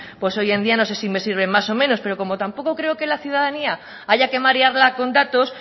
hoy en día no sé si me sirven más o menos pero como tampoco creo que a la ciudadanía haya que marearla con datos